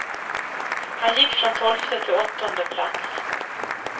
Han gick från tolfte till åttonde plats.